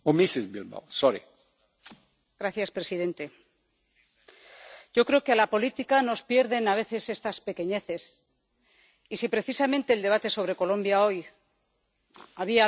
Yo creo que a la política nos pierden a veces estas pequeñeces y, si precisamente en el debate sobre Colombia hoy había algún ingrediente que no necesitaba, era el cuestionamiento de los grupos.